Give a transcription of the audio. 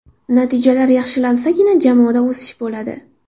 Natijalar yaxshilansagina jamoada o‘sish bo‘ladi”.